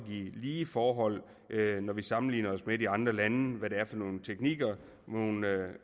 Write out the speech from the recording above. lige forhold når vi sammenligner os med de andre lande på det er for nogle teknikker og nogle